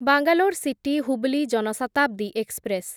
Bangalore city Hubli Jan Shatabdi express